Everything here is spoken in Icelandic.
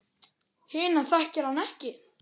Hina þekkir hann ekki.